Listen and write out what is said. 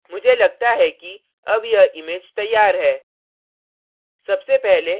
मुझे लगता है कि अब यह image तैयार है